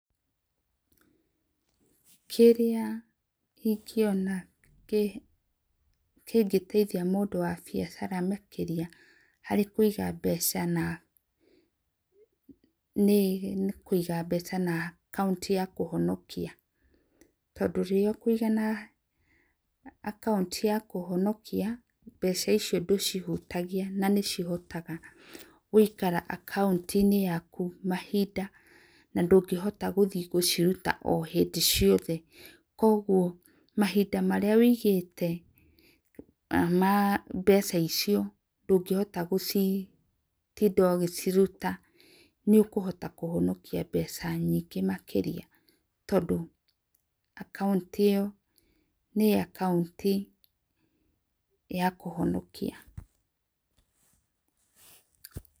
Kĩrĩa ĩngĩona kĩngĩteĩthĩa mũndũ wa biacara makĩrĩa harĩ kũĩga mbeca na nĩ kũiga mbeca na akaunti ya kũhonkĩa, tondũ rĩrĩa ũkũĩga na akaũntĩ ya kũhonokĩa mbeca icio ndũcihũtagĩa na nĩ cihotaga gũĩkara akaunti inĩ yakũ mahĩnda na ndũgĩhota gũthĩe gũcirũta hĩndĩ ciothe kwogwo mahĩnda marĩa wĩigĩte ma mbeca icio ndũgĩhota gũcitinda ũgĩcirũta nĩ ũkũhota kũhonokĩa mbeca nyĩngĩ makĩrĩa tondũ ta akaunti ĩyo nĩ akaunti ya kuhonokĩa.